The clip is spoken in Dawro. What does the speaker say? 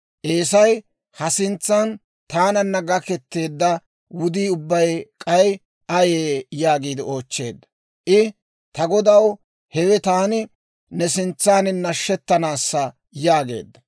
Eesay, «Ha sintsan taananna gaketeedda wudii ubbay k'ay ayee?» yaagiide oochcheedda. I, «Ta godaw, hewe taani ne sintsaan nashettanaassa» yaageedda.